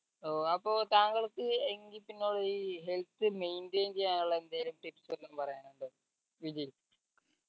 ഏർ അപ്പോൾ താങ്കൾക്ക് എങ്കി പിന്നെ ഒരു ഇ health maintain ചെയ്യാനുള്ള എന്തേലും tips ആറ്റം പറയാനുണ്ടോ വിജയ്